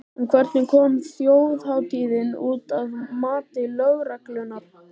En hvernig kom þjóðhátíðin út, að mati lögreglunnar?